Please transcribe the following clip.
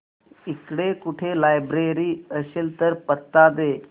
इकडे कुठे लायब्रेरी असेल तर पत्ता दे